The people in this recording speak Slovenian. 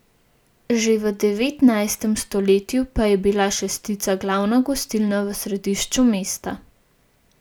Že v devetnajstem stoletju pa je bila Šestica glavna gostilna v središču mesta.